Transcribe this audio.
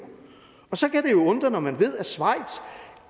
så kan det jo undre når man ved at schweiz